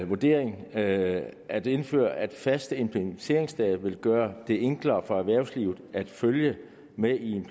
vurdering er at at indførelse af faste implementeringsdatoer vil gøre det enklere for erhvervslivet at følge med i